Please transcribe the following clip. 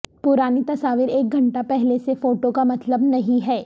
پرانی تصاویر ایک گھنٹہ پہلے سے فوٹو کا مطلب نہیں ہے